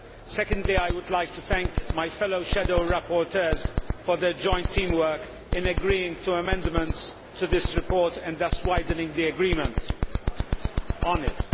Secondly, I would like to thank my fellow shadow rapporteurs for their joint team work in agreeing to amendments to this report and thus widening the agreement on it.